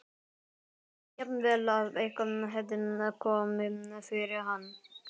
Ég hélt jafnvel að eitthvað hefði komið fyrir hann.